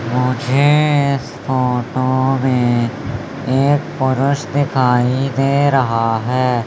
मुझे इस फोटो में एक पुरुष दिखाई दे रहां हैं।